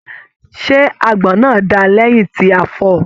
Ṣe àgbọn náà dáa lẹyìn tí a fọọ̀?